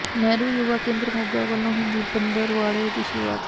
ਨਹਿਰੂ ਯੁਵਾ ਕੇਂਦਰ ਮੋਗਾ ਵਲੋਂ ਹਿੰਦੀ ਪੰਦ੍ਹਰਵਾੜੇ ਦੀ ਸ਼ੁਰੂਆਤ